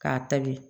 K'a tabi